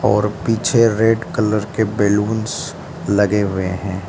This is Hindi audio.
और पीछे रेड कलर के बैलूंस लगे हुए हैं।